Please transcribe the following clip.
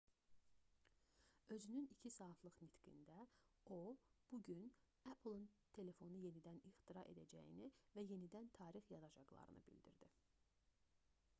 özünün 2 saatlıq nitqində o bu gün apple-ın telefonu yenidən ixtira edəcəyini və yenidən tarix yazacaqlarını bildirdi